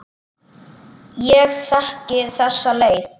Ég þekki þessa leið.